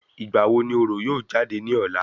Ìgbà wo ni orò yóò jáde ní ọ̀la?